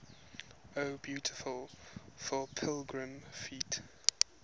o beautiful for pilgrim feet